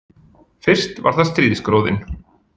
Fyrst var það stríðsgróðinn